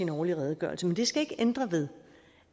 årlig redegørelse men det skal ikke ændre ved